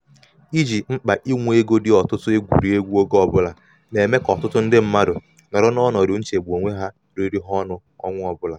iji mkpa inwe ego dị ọtụtụ egwurị egwu oge ọbụla na-eme ka ọtụtụ ndị mmadụ nọrọ n'ọnọdụ nchegbu onwe riri ha ọnụ ọnwa ọbụla.